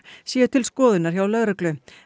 séu til skoðunar hjá lögreglu